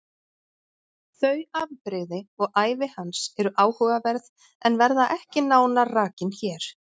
Þau afbrigði og ævi hans eru áhugaverð en verða ekki nánar rakin hér.